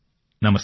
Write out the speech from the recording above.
నమస్కారం